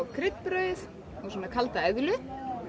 kryddbrauð og svona kalda eðlu